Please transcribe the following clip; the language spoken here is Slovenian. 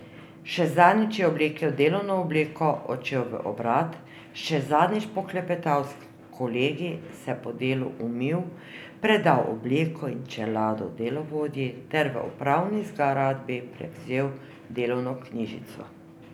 Še zadnjič je oblekel delovno obleko, odšel v obrat, še zadnjič poklepetal s kolegi, se po delu umil, predal obleko in čelado delovodji ter v upravni zgradbi prevzel delovno knjižico.